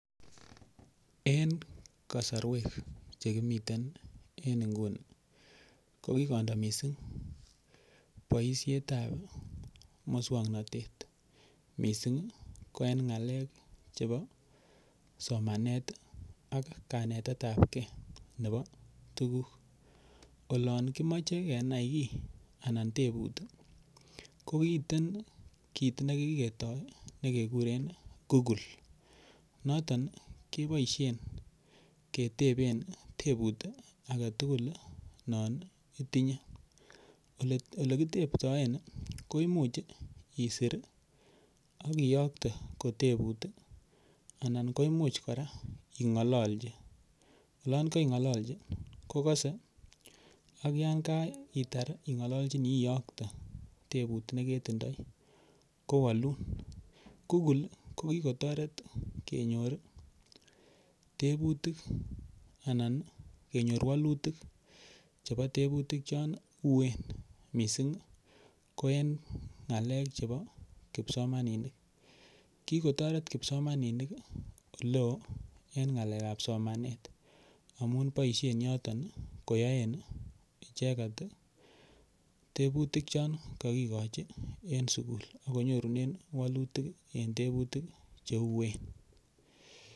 En kasarwek che kimiten en nguni ko kigondo mising boisiet ab muswoknatet mising ko en ng'alek chebo somanet ak kanetet ab ge nebo tuguk. Olon kimoche kenai kiy anan tebut komiten kit ne kigetoi ne kekuren Google. Noton keboisien keteben tebut age tugul non itinye. Ole kiteptoen koimuch isir ak iyokte kotebut anan koimuch kora ing'ololchi. Olon kaing'olochi kogose ak yan kaitar ing'ololchini iyokte tebutiet ne kitindoi, kowalun. Google ko kigotoret kenyor tebuutik anan kenyor walutik chebo tebutik chon uen mising kou en ng'alek chombo kipsomaninik kigotoret kipsomanninik ole oo en ng'alekab somanet amun boisien yoto koyoen icheget tebutik chon ko kigochi en sugul ago nyorunen walutik en tebutik cheuwen.